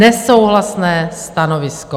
Nesouhlasné stanovisko.